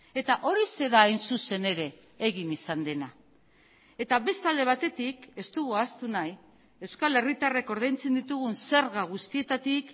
eta horixe da hain zuzen ere egin izan dena eta beste alde batetik ez dugu ahaztu nahi euskal herritarrek ordaintzen ditugun zerga guztietatik